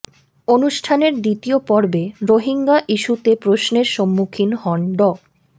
অনুষ্ঠানের দ্বিতীয় পর্বে রোহিঙ্গা ইস্যুতে প্রশ্নের সম্মুখীন হন ড